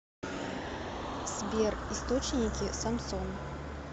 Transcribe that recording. сбер источники самсон